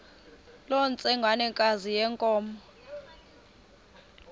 loo ntsengwanekazi yenkomo